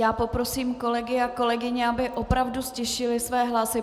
Já poprosím kolegy a kolegyně, aby opravdu ztišili své hlasy.